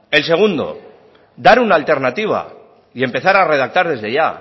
el segundo dar una alternativa y empezar a redactar desde ya